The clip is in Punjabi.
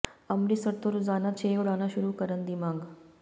ਅੰਮ੍ਰਿਤਸਰ ਤੋਂ ਰੋਜ਼ਾਨਾ ਛੇ ਉਡਾਣਾਂ ਸ਼ੁਰੂ ਕਰਨ ਦੀ ਮੰਗ